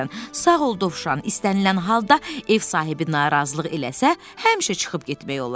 Sağ ol, Dovşan, istənilən halda ev sahibi narazılıq eləsə, həmişə çıxıb getmək olar.